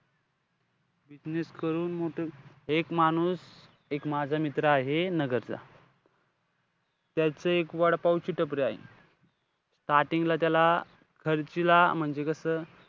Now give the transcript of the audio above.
Business करून मोठं. एक माणूस, एक माझा मित्र आहे नगरचा. त्याची एक वडापावची टपरी आहे. starting ला त्याला खर्चिला म्हणजे कसं,